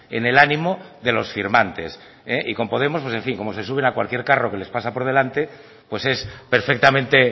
en el ánimo de los firmantes y con podemos en fin como se suben a cualquier carro que les pasa por delante pues es perfectamente